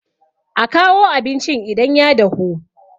a kawo abincin idan ya dahu!